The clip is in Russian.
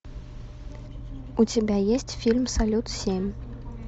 у тебя есть фильм салют семь